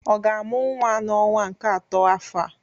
Ọ ga-amụ nwa n'ọnwa nke atọ afọ a